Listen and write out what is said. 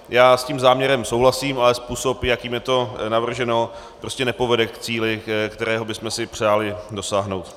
Já s tím záměrem souhlasím, ale způsob, jakým je to navrženo, prostě nepovede k cíli, kterého bychom si přáli dosáhnout.